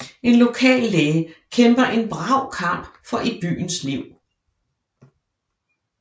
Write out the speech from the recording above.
En lokal læge kæmper en brav kamp for i byens liv